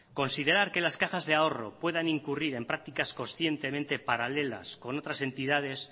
considerar que las cajas de ahorro puedan incurrir en prácticas conscientemente paralelas con otras entidades